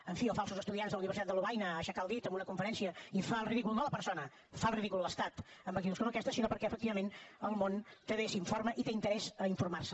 en fi o falsos estudiants a la universitat de lovaina a aixecar el dit en una conferència i fa el ridícul no la persona fa el ridícul l’estat amb actituds com aquesta sinó perquè efectivament el món també s’informa i té interès a informar se